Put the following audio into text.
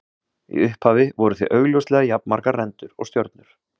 Í upphafi voru því augljóslega jafnmargar rendur og stjörnur.